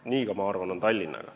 Nii on, ma arvan, ka Tallinnaga.